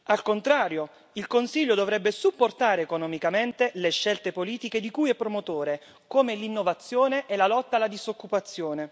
Al contrario, il Consiglio dovrebbe supportare economicamente le scelte politiche di cui è promotore, come l'innovazione e la lotta alla disoccupazione.